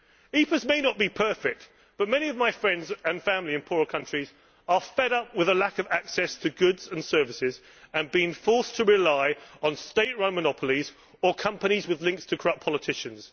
EPAs may not be perfect but many of my friends and family in poorer countries are fed up at the lack of access to goods and services and at being forced to rely on state run monopolies or companies with links to corrupt politicians.